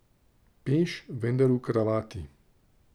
Peš, vendar v kravati.